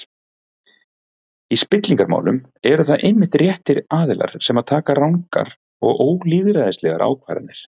Í spillingarmálum eru það einmitt réttir aðilar sem taka rangar og ólýðræðislegar ákvarðanir.